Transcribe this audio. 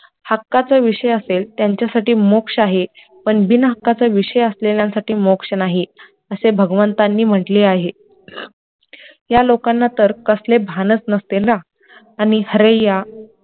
हक्काचा विषय असेल त्यांच्यासाठी मोक्ष आहे, पण बिनहक्काचा विषय असलेल्यांसाठी मोक्ष नाही असे भगवंतांनी म्हंटले आहे, त्या लोकांना तर कसले भानच नसते ना आणि हरिया